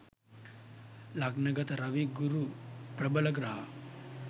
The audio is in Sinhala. ලග්න ගත රවි ගුරු ප්‍රබල ග්‍රහ